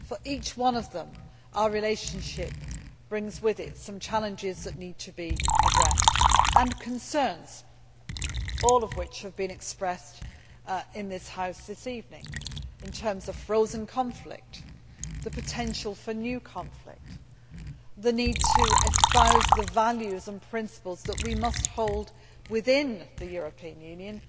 Our relationship with each one of them brings with it some challenges that need to be addressed and concerns, all of which have been expressed in this House this evening, in terms of frozen conflict, the potential for new conflict, the need to espouse the value and principles that we must hold within the European Union.